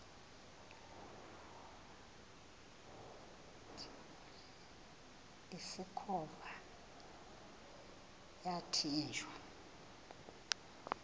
usikhova yathinjw a